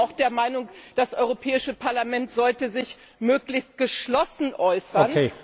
Aber ich bin auch der Meinung, das Europäische Parlament sollte sich möglichst geschlossen äußern.